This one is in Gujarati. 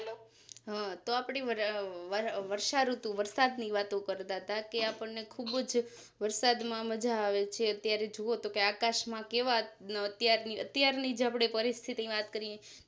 હ તો આપણી વર્ષાઋતુવરસાદ ની વાતો કરતાતા કે આપણને ખુબ જ વરસાદ માં મજા આવે છે અત્યારે જોવોતો કેઆકાશ માં કેવા અત્યારની જ આપણે પરિસ્થિતિ ની વાત કરીએ